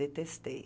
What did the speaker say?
Detestei.